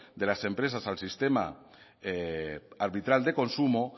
de las empresas al sistema arbitral de consumo